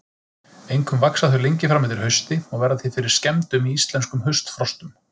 Einkum vaxa þau lengi fram eftir hausti og verða því fyrir skemmdum í íslenskum haustfrostum.